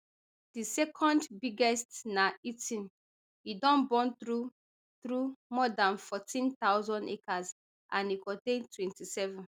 di second biggest na eating e don burn through through more dan fourteen thousand acres and e contain twenty-seven